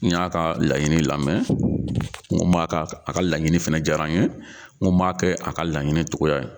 N y'a ka laɲini lamɛn n ko n m'a ka a ka laɲini fana diyara n ye n ko n b'a kɛ a ka laɲini cogoya ye.